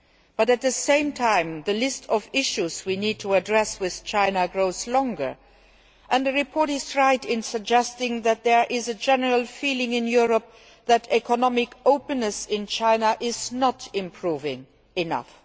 But at the same time the list of issues we need to address with China grows longer, and the report is right in suggesting that there is a general feeling in Europe that economic openness in China is not improving enough.